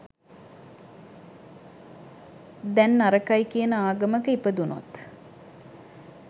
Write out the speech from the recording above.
දැන් නරකයි කියන ආගමක ඉපදුනොත්